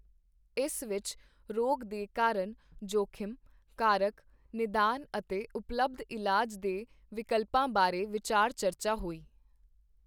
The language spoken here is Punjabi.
ਇਸ ਵਿੱਚ ਰੋਗ ਦੇ ਕਾਰਨ, ਜੋਖ਼ਿਮ, ਕਾਰਕ, ਨਿਦਾਨ ਅਤੇ ਉਪਲਬਧ ਇਲਾਜ ਦੇ ਵਿਕਲਪਾਂ ਬਾਰੇ ਵਿਚਾਰ ਚਰਚਾ ਹੋਈ।